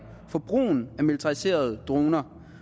for brugen af militariserede droner